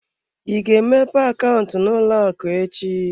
Ị ga-emepe akaụntụ n'ụlọ akụ echi?